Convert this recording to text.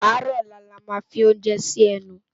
Àárò òlá lá má fi óoúnjè si ènú